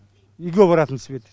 үйге баратын свет